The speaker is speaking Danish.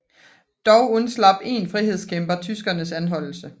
Dog undslap én frihedskæmper tyskernes anholdelse